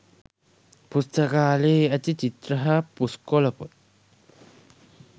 පුස්තකාලයේ ඇති චිත්‍ර හා පුස්කොළ පොත්